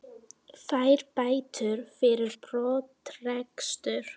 Fær bætur fyrir brottrekstur